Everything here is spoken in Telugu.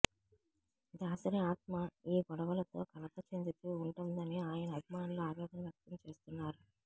దాసరి ఆత్మ ఈ గొడవలతో కలత చెందుతూ ఉంటుందని ఆయన అభిమానులు ఆవేదన వ్యక్తం చేస్తున్నారు